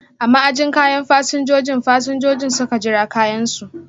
A ma'ajin kayan fasinjojin, fasinjojin suka jira kayan su.